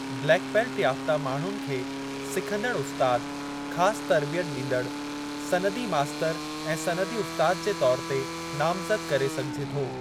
Black belt याफ़्ता माण्हुनि खे सिखंदड़ु उस्तादु, ख़ास तर्बियत ॾींदड़ु, सनदी मास्तरु ऐं सनदी उस्ताद जे तौर ते नामज़दु करे सघिजे थो।